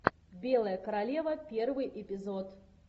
белая королева первый эпизод